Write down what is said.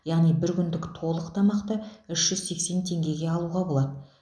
яғни бір күндік толық тамақты үш жүз сексен теңгеге алуға болады